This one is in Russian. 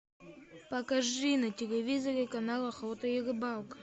покажи на телевизоре канал охота и рыбалка